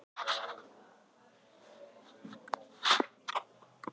Drengur hafði fylgst með, ýmist á háhesti, baki eða í örmum frænku sinnar.